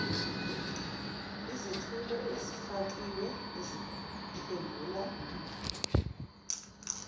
izethulo ezifakiwe eziphendula